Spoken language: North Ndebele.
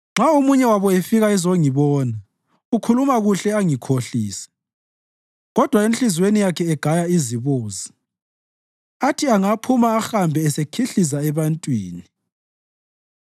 Nxa omunye wabo efika ezongibona, ukhuluma kuhle angikhohlise, kodwa enhliziyweni yakhe egaya izibozi; athi angaphuma ahambe esekhihliza ebantwini.